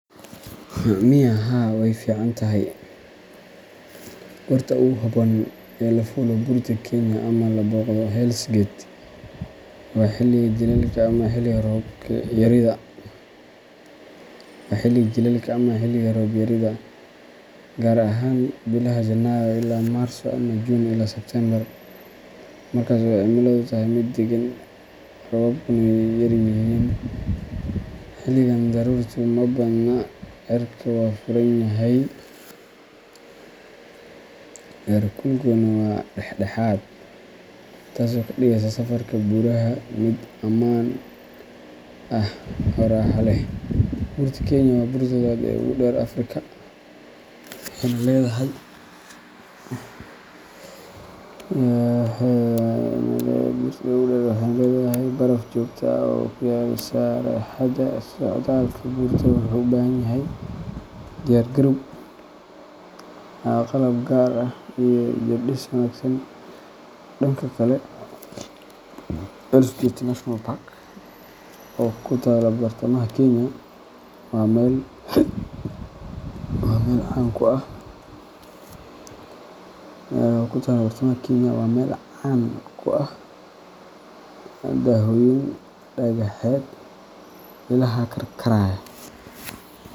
Miya Haa wey fican tahay. Goorta ugu habboon ee la fuulo Buurta Kenya ama la booqdo Hell's Gate waa xilliga jiilaalka ama xilliga roob-yarida, gaar ahaan bilaha Janaayo ilaa Maarso ama Juun ilaa Sebtembar, markaas oo cimiladu tahay mid deggan, roobabkuna yaryihiin. Xilligan, daruurtu ma badna, cirka waa furan yahay, heerkulkuna waa dhexdhexaad, taasoo ka dhigaysa safarka buuraha mid ammaan ah oo raaxo leh. Buurta Kenya waa buurta labaad ee ugu dheer Afrika, waxayna leedahay baraf joogto ah oo ku yaal sareheeda. Socdaalka buurta wuxuu u baahan yahay diyaar-garow, qalab gaar ah, iyo jirdhis wanaagsan. Dhanka kale, Hell’s Gate National Park, oo ku taalla bartamaha Kenya, waa meel caan ku ah dooxooyin dhagaxeed, ilaha karkaraya.